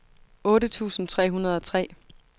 otte tusind tre hundrede og tre